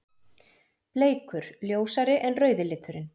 Bleikur: Ljósari en rauði liturinn.